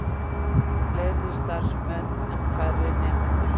Fleiri starfsmenn en færri nemendur